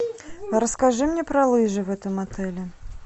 расскажи мне про лыжи в этом отеле